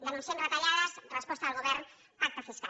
denunciem retallades resposta del govern pacte fiscal